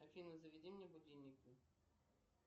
афина заведи мне будильники